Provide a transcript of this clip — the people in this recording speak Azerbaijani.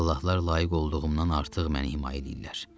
Allahlar layiq olduğumdan artıq məni himayə edirlər.